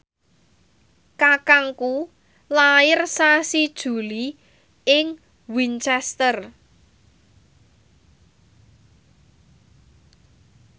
kakangku lair sasi Juli ing Winchester